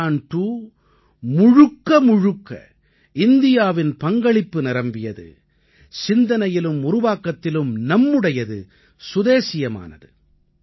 சந்திரயான் 2 முழுக்க முழுக்க இந்தியாவின் பங்களிப்பு நிரம்பியது சிந்தனையிலும் உருவாக்கத்திலும் நம்முடையது சுதேசியமானது